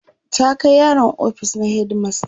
ta Kai yaron ofis na headmaster